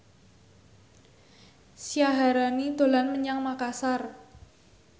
Syaharani dolan menyang Makasar